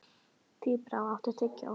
Tíbrá, áttu tyggjó?